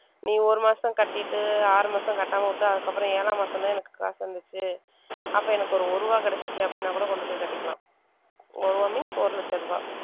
நீ ஒரு மாசம் கட்டிட்டு ஆறு மாசம் கட்டாம விட்டு அதுக்கப்புறம் ஏழாம் மாசம்தான் எனக்கு காசு வந்துச்சு அப்ப எனக்கு ஒரு ஒரு ரூபாய் கிடைச்சுச்சு அப்படின்னா கூட கொண்டு போய் கட்டிக்கலாம் ஒரு ரூபாய் means ஒரு லட்ச ரூபாய்